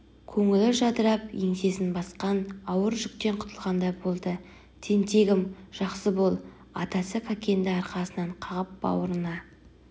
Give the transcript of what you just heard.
көңілі жадырап еңсесін басқан ауыр жүктен құтылғандай болды тентегім жақсы бол атасы кәкенді арқасынан қағып бауырына